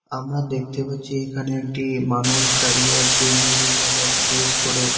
আমরা দেখতে পাচ্ছি এখানে একটি মানুষ দাড়িয়ে আছে নীল কালার ড্রেস পরে।